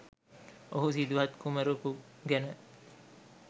ඔහු සිදුහත් කුමරකු ගැන